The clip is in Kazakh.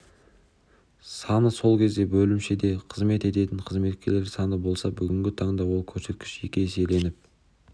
саны сол кезде бөлімшеде қызмет ететін қызметкерлер саны болса бүгінгі таңда ол көрсеткіш екі еселеніп